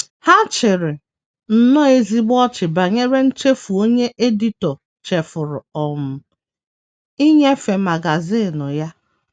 Ha chịrị nnọọ ezigbo ọchị banyere nchefu onye editọ chefuru um inyefe magazin ya.